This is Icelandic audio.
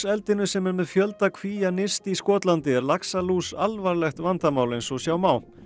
eldinu sem er með fjölda nyrst í Skotlandi er laxalús alvarlegt vandamál eins og sjá má